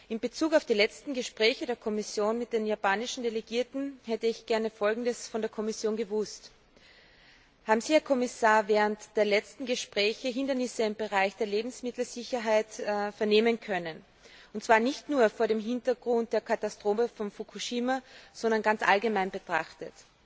In Bezug auf die letzten Gespräche der Kommission mit den japanischen Delegierten hätte ich gerne Folgendes von der Kommission gewusst Haben Sie, Herr Kommissar, während der letzten Gespräche Hindernisse im Bereich der Lebensmittelsicherheit vernehmen können, und zwar nicht nur vor dem Hintergrund der Katastrophe von Fukushima, sondern ganz allgemein betrachtet?